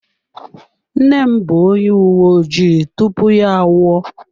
Nne m bụ onye uwe ojii tupu ya anwụọ.